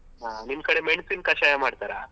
ಹ ನಿಮ್ ಕಡೆ ಮೆಣಸಿನ ಕಷಾಯ ಮಾಡ್ತಾರಾ?